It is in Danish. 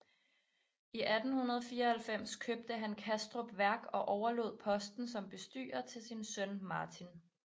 I 1894 købte han Kastrup Værk og overlod posten som bestyrer til sin søn Martin